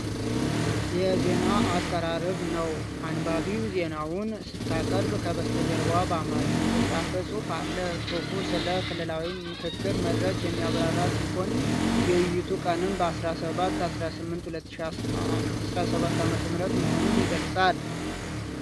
የዜና አቀራረብ ነው ። አንባቢዋ ዜናውን ስታቀርብ ፣ ከበስተጀርባዋ በአማርኛ የተጻፈ ጽሑፍ አለ ። ጽሑፉ ስለ " ክልላዊ የምክክር መድረክ " የሚያብራራ ሲሆን ፣ የውይይቱ ቀንም በ17-18/2017 ዓ.ም መሆኑን ይገልጻል።